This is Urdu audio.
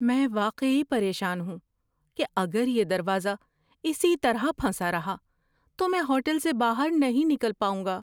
میں واقعی پریشان ہوں کہ اگر یہ دروازہ اسی طرح پھنسا رہا تو میں ہوٹل سے باہر نہیں نکل پاؤں گا۔